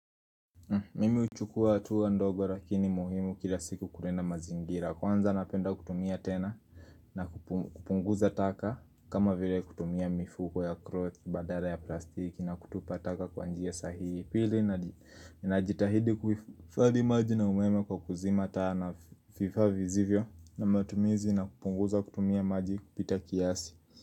Mimi huchukua hatua ndogo lakini muhimu kila siku kulinda mazingira kwanza napenda kutumia tena na kupunguza taka kama vile kutumia mifuko ya cloth badala ya plastiki na kutupa taka kwa njia sahihi pili najitahidi kuhifadhi maji na umeme kwa kuzima taa na vifaa visivyo na matumizi na kupunguza kutumia maji kupita kiasi.